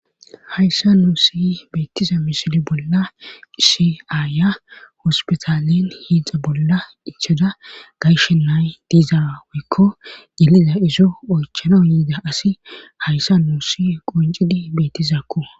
hayssa nuusi beettiza misili bolla issi aayiya hospitalen hiixa bolla ichada gayshe nay diizaweykko yeliza izo oychana yiida asi hayssa nuusi qoncidi bettizakko